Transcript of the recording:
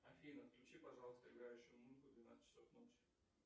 афина включи пожалуйста играющую музыку в двенадцать часов ночи